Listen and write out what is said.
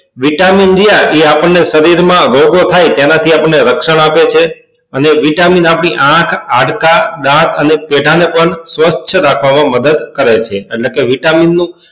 vitamin રહ્યા તે આપણને શરીર માં ગળ ગળ થાય તેના થી આપણને રક્ષણ આપે છે અને vitamin આપડી આંખ હાડકા દાંત અને પેઢા ને પણ સ્વચ્છ રાખવા માં મદદ કરે છે એટલે કે vitamin નું